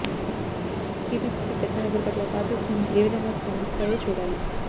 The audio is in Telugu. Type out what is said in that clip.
టీపిసిసి కఠిన వైఖరి పట్ల పార్టీ శ్రేణులు ఏ విధంగా స్పందిస్తాయో చూడాలి